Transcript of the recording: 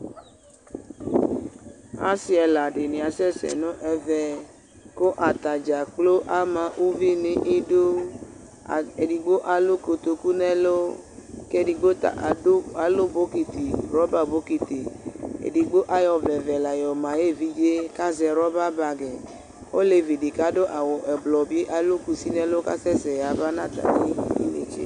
Asɩ ɛla dɩnɩ asɛ sɛ nʋ ɛvɛ, kʋ atadza kplo ama uvi nʋ idu Edɩgbo alʋ kotoku nʋ ɛlʋ, kʋ edigbo ta alʋ rɔka bɔkɩtɩ Edigbo ayɔ ɔvlɛ ɔvɛ la yɔma ayʋ evidze, kʋ azɛ rɔba bagɩ Olevi dɩ kʋ adʋ aɣʋ ɛblɔ bɩ alʋ kusi nʋ ɛlʋ kʋ asɛ sɛ yaba nʋ atmɩ idu netse